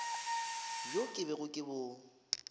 bjo ke bego ke bo